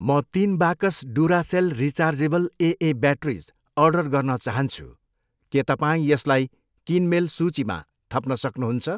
म तिन बाकस Duracell rechargeable AA batteries order गर्न चाहन्छु, के तपाईँ यसलाई किनमेल सूचीमा थप्न सक्नुहुन्छ?